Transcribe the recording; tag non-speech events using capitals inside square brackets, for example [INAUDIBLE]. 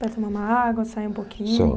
Para tomar uma água, sair um pouquinho? [UNINTELLIGIBLE]